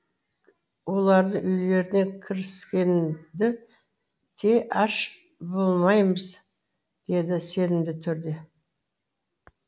олардың үйлеріне кіріскенде аш болмаймыз деді сенімді түрде